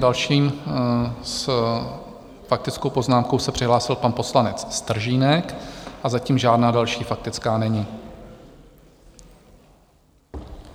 Další s faktickou poznámkou se přihlásil pan poslanec Stržínek, a zatím žádná další faktická není.